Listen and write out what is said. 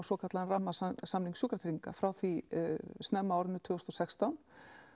svokallaðan rammasamning sjúkratrygginga frá því snemma á árinu tvö þúsund og sextán